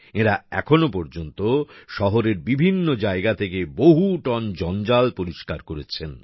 এঁরা এখনো পর্যন্ত শহরের বিভিন্ন জায়গা থেকে বহু টন জঞ্জাল পরিষ্কার করেছেন